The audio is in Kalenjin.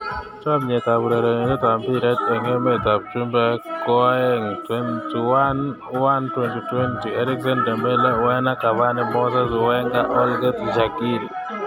Chomset ab urerenet ab mbiret eng emet ab chumbek koaeng' 21.01.2020: Eriksen, Dembele, Werner, Cavani, Moses, Wenger, Holgate, Shaqiri